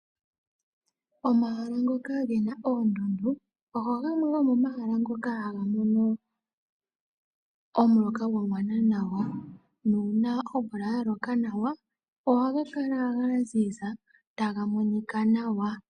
Omahala ngoka ge na oondundu ogo gamwe gomomahala ngoka haga mono omuloka gwa gwana nawa nuuna omvula ya loka nawa ohaga kala ga ziza taga monika nawa.